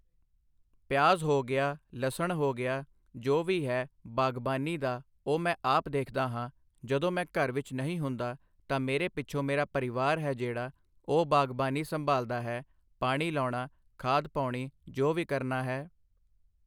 ਪਿਆਜ ਹੋ ਗਿਆ ਲਸਣ ਹੋ ਗਿਆ ਜੋ ਵੀ ਹੈ ਬਾਗਬਾਨੀ ਦਾ ਉਹ ਮੈਂ ਆਪ ਦੇਖਦਾ ਹਾਂ ਜਦੋਂ ਮੈਂ ਘਰ ਵਿੱਚ ਨਹੀਂ ਹੁੰਦਾ ਤਾਂ ਮੇਰੇ ਪਿੱਛੋਂ ਮੇਰਾ ਪਰਿਵਾਰ ਹੈ ਜਿਹੜਾ ਉਹ ਬਾਗਬਾਨੀ ਸੰਭਾਲਦਾ ਹੈ ਪਾਣੀ ਲਾਉਣਾ ਖਾਦ ਪਾਉਣੀ ਜੋ ਵੀ ਕਰਨਾ ਹੈ